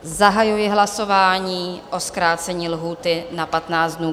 Zahajuji hlasování o zkrácení lhůty na 15 dnů.